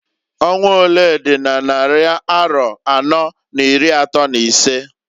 Ọnwa olee dị n' nnarị arọ anọọ n'iri atọọ n'isee?